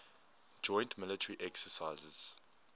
joint military exercises